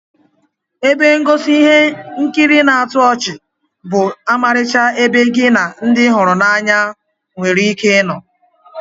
Ebe ngosi ihe nkiri na-atọ ọchị bụ ọmarịcha ebe gi na ndi ị hụrụ n'anya were ike ino